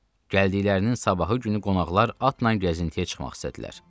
Gəldiklərinin sabahı günü qonaqlar atla gəzintiyə çıxmaq istədilər.